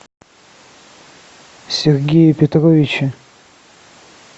сергее петровиче